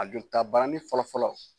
A jolitabaranin fɔlɔ fɔlɔ